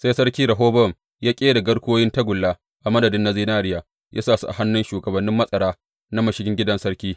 Sai sarki Rehobowam ya ƙera garkuwoyin tagulla a madadin na zinariya, ya sa su a hannun shugabannin matsara na mashigin gidan sarki.